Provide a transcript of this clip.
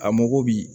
A mako bi